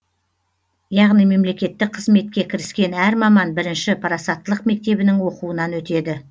яғни мемлекеттік қызметке кіріскен әр маман бірінші парасаттылық мектебінің оқуынан өтеді